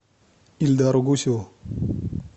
ильдару гусеву